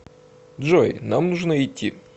джой нам нужно идти